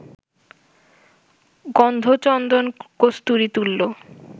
গন্ধ চন্দন-কস্তুরী তুল্য